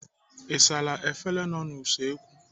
Ị saala efere nọ n'usekwu?